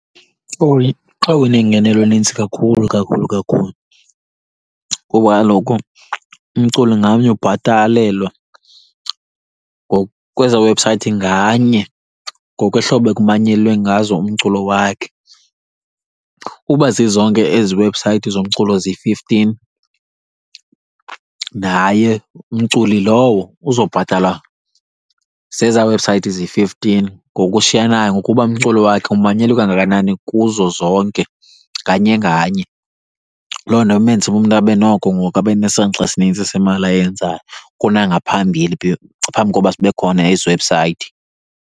Xa unengenelo enintsi kakhulu, kakhulu, kakhulu kuba kaloku umculo ngamnye ubhatalelwa ngokwezaa webhusayithi nganye, ngokwehlobo ekumanyelwe ngazo umculo wakhe. Uba zizonke ezi webhusayithi zomculo ziyi-fifteen naye umculi lowo uzobhatalwa zezaa webhusayithi ziyi-fifteen ngokushiyanayo, ngokuba umculo wakhe umanyelwe kangakanani kuzo zonke, nganye nganye. Loo nto imenza uba umntu abe noko ngoku abe nesanxa esinintsi semali ayenzayo kunangaphambili, phambi koba zibe khona ezi webhusayithi.